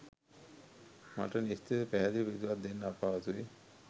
මට නිශ්චිතව පැහැදිලි පිළිතුරක් දෙන්න අපහසුයි